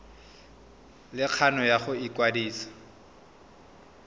le kgano ya go ikwadisa